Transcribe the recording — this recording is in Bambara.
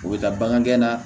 U bɛ taa bagan gɛn na